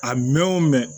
A mɛn o mɛn